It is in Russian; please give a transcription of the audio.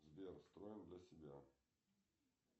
сбер строим для себя